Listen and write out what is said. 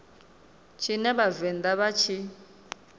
tshine vha vhavenḓa vha tshi